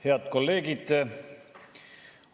Head kolleegid!